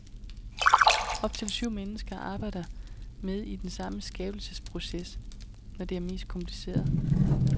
Op til syv mennesker arbejder med i den samme skabelsesproces, når det er mest kompliceret.